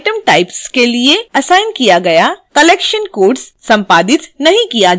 item types के लिए assign किया गया collection codes संपादित नहीं किया जा सकता है